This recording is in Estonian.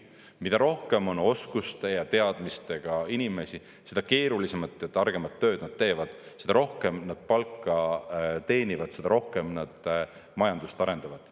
Mida rohkem on oskuste ja teadmistega inimesi, seda keerulisemat ja targemat tööd nad teevad, seda rohkem nad palka teenivad, seda rohkem nad majandust arendavad.